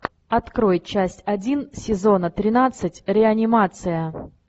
открой часть один сезона тринадцать реанимация